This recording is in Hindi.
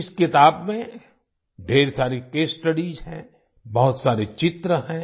इस किताब में ढ़ेर सारी केस स्टडीज हैं बहुत सारे चित्र हैं